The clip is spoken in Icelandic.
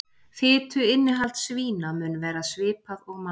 Fituinnihald svína mun vera svipað og manna.